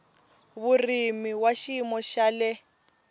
vurimi wa xiyimo xa le